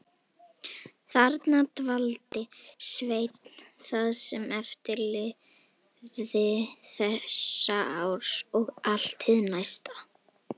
Þarna dvaldi Sveinn það sem eftir lifði þessa árs og allt hið næsta.